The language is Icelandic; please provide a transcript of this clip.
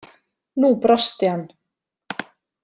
Nú brosti hann.